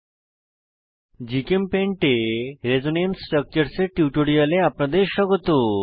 GChemPaint এ resonance structures resonance structure এর টিউটোরিয়ালে আপনাদের স্বাগত